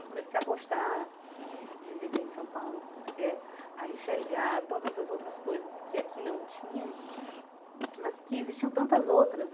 Eu comecei a gostar de viver em São Paulo, comecei a a enxergar todas as outras coisas que aqui não tinha, mas que existiam tantas outras.